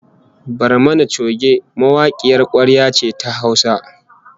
Barmani choge mawakiyar kwarya ce ta Hausa